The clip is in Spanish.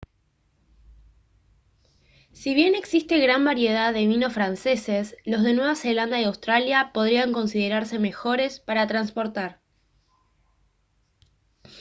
si bien existe gran variedad de vinos franceses los de nueva zelanda y australia podrían considerarse mejores para transportar